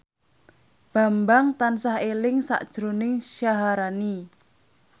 Bambang tansah eling sakjroning Syaharani